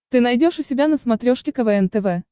ты найдешь у себя на смотрешке квн тв